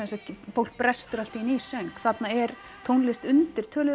fólk brestur allt í einu í söng þarna er tónlist undir töluðu